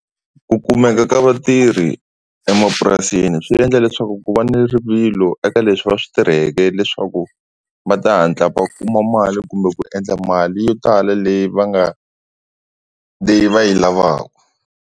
Ku kumeka ka vatirhi emapurasini swi endla leswaku ku va ni rivilo eka leswi va swi tirheke leswaku va ta hatla va kuma mali kumbe ku endla mali yo tala leyi va nga leyi va yi lavaku.